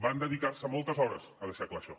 van dedicar se moltes hores a deixar clar això